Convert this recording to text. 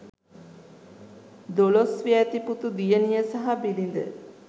දොළොස් වියැති පුතු දියණිය සහ බිරිද